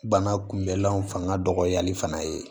Bana kunbɛlanw fanga dɔgɔyali fana ye